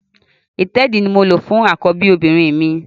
Ìtẹ́ẹ̀dí ni mo lò fún àkọ́bí obìnrin mi